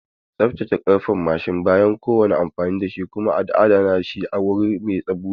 Tsaftace karfen mashin bayan kowane amfani kuma adana shi a wuri mai bushe.